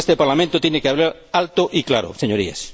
creo que este Parlamento tiene que hablar alto y claro, señorías.